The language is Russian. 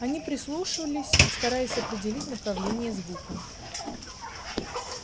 они прислушивались стараясь определить направление звука